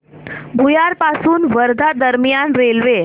भुयार पासून वर्धा दरम्यान रेल्वे